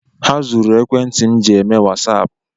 Ha zuru ekwentị m ji eme Wassap.